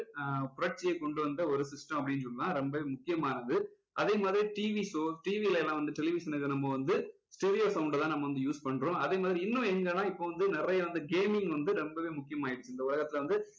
ஆஹ் புரட்சியை கொண்டு வந்த ஒரு system அப்படின்னு சொல்லலாம் ரொம்பவே முக்கியமானது அதே மாதிரி TV show TV ல எல்லாம் வந்து television இதுல நம்ம வந்து stereo sound அ தான் நம்ம வந்து use பண்றோம் அதேமாதிரி இன்னும் எங்கன்னா இப்போ வந்து நிறைய வந்து gaming வந்து ரொம்பவே முக்கியம் ஆகிடுச்சி இந்த உலகத்துல வந்து